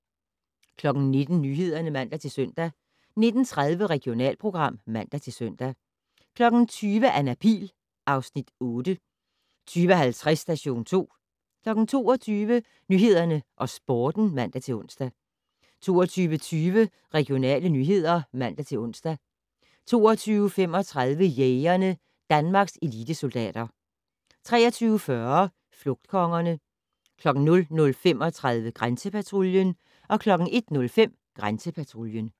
19:00: Nyhederne (man-søn) 19:30: Regionalprogram (man-søn) 20:00: Anna Pihl (Afs. 8) 20:50: Station 2 22:00: Nyhederne og Sporten (man-ons) 22:20: Regionale nyheder (man-ons) 22:35: Jægerne: Danmarks elitesoldater 23:40: Flugtkongerne 00:35: Grænsepatruljen 01:05: Grænsepatruljen